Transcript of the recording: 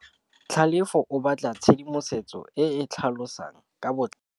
Tlhalefô o batla tshedimosetsô e e tlhalosang ka botlalô.